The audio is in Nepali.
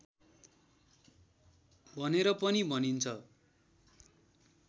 भनेर पनि भनिन्छ